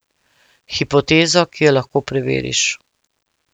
Hipotezo, ki jo lahko preveriš.